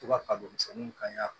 To ka kabini misɛnninw kan ɲa